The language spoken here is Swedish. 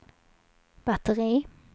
batteri